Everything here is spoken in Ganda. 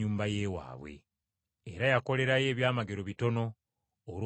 Era yakolerayo ebyamagero bitono olw’obutakkiriza bwabwe.